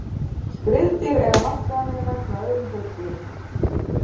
Skriðdýr eiga margt sameiginlegt með öðrum hryggdýrum.